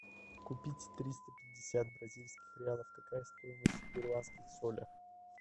купить триста пятьдесят бразильских реалов какая стоимость в перуанских солях